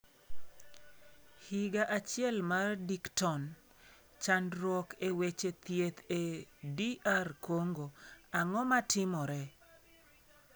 Higa Achiel mar Dickton: Chandruok e Weche Thieth e DR Congo, Ang'o ma Timore?